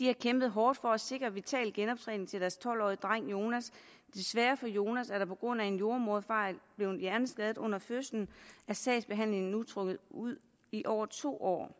har kæmpet hårdt for at sikre vital genoptræning til deres tolv årige dreng jonas desværre for jonas der på grund af en jordemoderfejl blev hjerneskadet under fødslen er sagsbehandlingen nu trukket ud i over to år